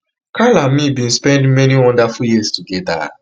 carl and me bin spend many wonderful years togeda